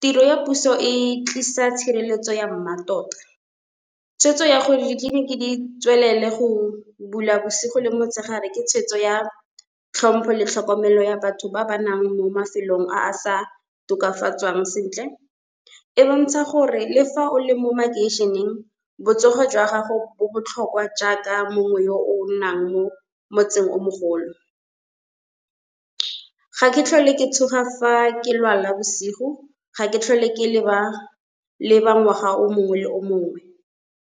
Tiro ya puso e tlisa tshireletso ya mmatota, tshweetso ya gore ditleliniki di tswelele go bula bosigo le motshegare ke tshwetso ya tlhompho le tlhokomelo ya batho ba ba nnang mo mafelong a a sa tokafatswang sentle. E bontsha gore le fa o le mo makeišeneng, botsogo jwa gago bo botlhokwa jaaka mongwe yo o nnang mo motseng o mogolo. Ga ke tlhole ke tshoga fa ke lwala bosigo, ga ke tlhole ke leba ngwaga o mongwe le o mongwe.